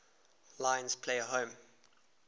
lions play home